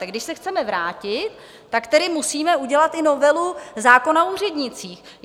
Takže když se chceme vrátit, tak tedy musíme udělat i novelu zákona o úřednících.